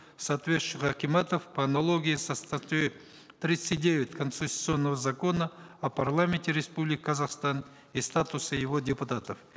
соответствующих акиматов по аналогии со статьей тридцать девять конституционного закона о парламенте республики казахстан и статусе его депутатов